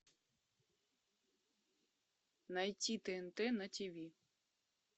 найти тнт на тиви